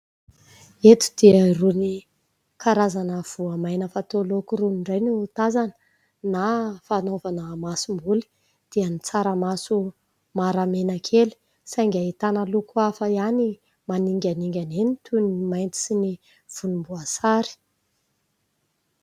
Eto dia irony karazana voamaina fatao laoka irony indray no tazana na fanaovana masomboly dia ny tsaramaso mara menakely saingy ahitana loko hafa ihany maninganingana eny toy ny mainty sy ny volomboasary.